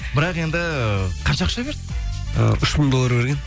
бірақ енді қанша ақша берді ы үш мың доллар берген